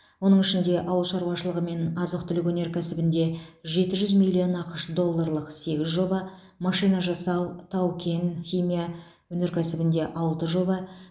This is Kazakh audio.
оның ішінде ауылшаруашылығы мен азық түлік өнеркәсібінде жеті жүз миллион ақш долларлық сегіз жоба машина жасау тау кен химия өнеркәсібінде алты жоба